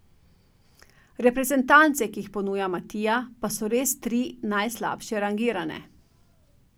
Reprezentance, ki jih ponuja bralec Matija, pa so res tri najslabše rangirane.